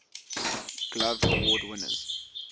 glove award winners